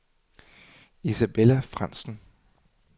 Isabella Frandsen